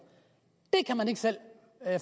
kan man ikke selv